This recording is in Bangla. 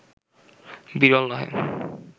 বিরল নহে